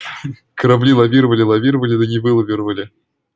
корабли лавировали лавировали да не вылавировали